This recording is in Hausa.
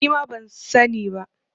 Nima ban sa ni ba